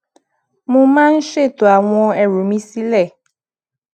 mo máa ń ṣètò àwọn ẹrù mi sile